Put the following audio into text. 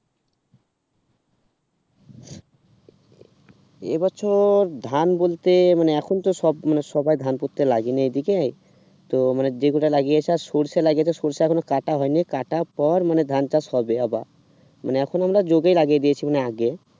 এবছর ধান বলতে মনে এখন তো সব মানে সবাই ধান পুততে লাগেনি এই দিকে তো মানে যেকটা লাগিয়েছে আর সরসা লাগিয়েছে সরসাএখনো কাটা হয়নি কাটা পর মানে ধান চাষ হবে আবা মানে এখন আমরা যোগে লাগিয়ে দিয়েছে মানে আগে